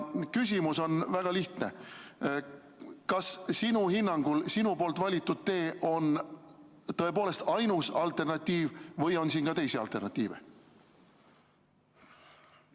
Küsimus on väga lihtne: kas sinu hinnangul on sinu valitud tee tõepoolest ainus alternatiiv või on siin ka teisi alternatiive?